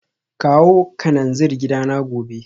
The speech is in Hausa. Kawo kananzir gidana gobe